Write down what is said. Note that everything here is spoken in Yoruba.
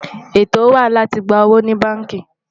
ètò wà láti gbà owó ní bánkì